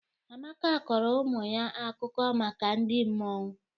Amaka kọrọ ụmụ ya akụkọ maka ndị mmụọ.